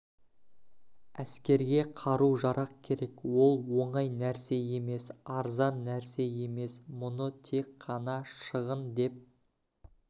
әскерге қару-жарақ керек ол оңай нәрсе емес арзан нәрсе емес мұны тек қана шығын деп